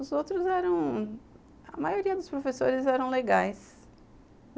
Os outros eram... A maioria dos professores eram legais.